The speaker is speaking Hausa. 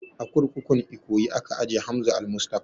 A kurkukun ikoyi aka ajiye Hamza almustapha